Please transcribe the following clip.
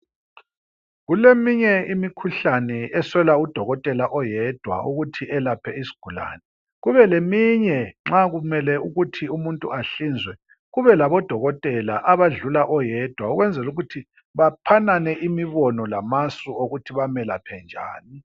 Kuleminye imikhuhlane eswela udokotela oyedwa ukuthi elaphe isigulane. Kubeleminye nxa kumele ukuthi umuntu ahlinzwe kube labodokotela abadlula oyedwa ukwenzela ukuthi baphanane imibono lamasu okuthi bamelaphe njani.